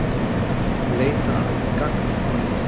Leita að gangnamanni